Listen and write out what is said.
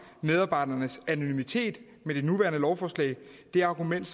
medarbejdernes anonymitet med det nuværende lovforslag det argument